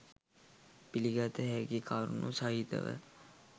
පිළිගත හැකි කරුණු සහිතව